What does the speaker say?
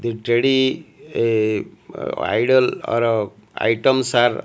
the teddy a ideal are items are --